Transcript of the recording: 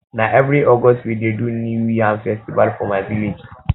na every august we dey do new yam festival for my village